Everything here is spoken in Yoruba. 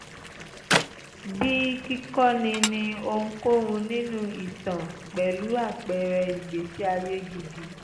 bíi kíkọ́ni ní ohunkóhun nínú ìtàn pẹ̀lú àpẹẹrẹ ìgbésí ayé gidi